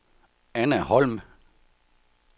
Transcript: Anna Holm